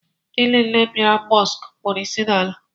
Ndị niile bịara Mọsk kpọrọ ịsị n'ala